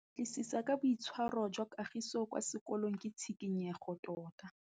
Go batlisisa ka boitshwaro jwa Kagiso kwa sekolong ke tshikinyêgô tota.